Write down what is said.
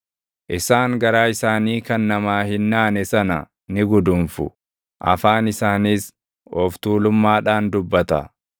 Isaan garaa isaanii kan namaa hin naane sana ni guduunfu; afaan isaaniis of tuulummaadhaan dubbata.